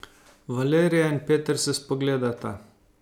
Valerija in Peter se spogledata.